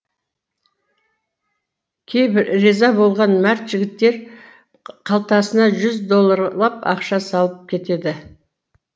кейбір риза болған мәрт жігіттер қалтасына жүз долларлап ақша салып кетеді